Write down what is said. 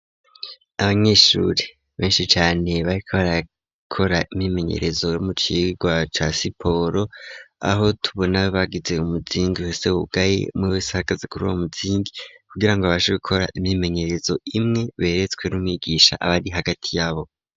Abanyeshuri benshi cane ,bariko barakora imyimenyerezo, mucirwa casiporo ,aho tubona bagize umuzingi uhesewugaye, umwe wese ahagaze kuri wa muzingi, kugira ngo baje gukora imyimenyerezo imwe, beretswe n'umwigisha abari hagati yabo.